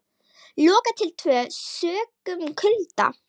Lokað til tvö sökum kulda